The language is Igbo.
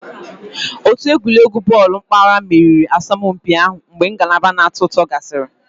Otu egwuregwu bọọlụ mpaghara meriri asọmpi ahụ mgbe ngalaba na-atọ ụtọ gasịrị